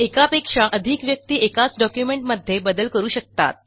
एकापेक्षा अधिक व्यक्ती एकाच डॉक्युमेंटमध्ये बदल करू शकतात